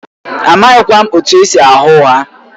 Amaghịkwa m etu esi agha ụgha